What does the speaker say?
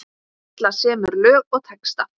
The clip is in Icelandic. Katla semur lög og texta.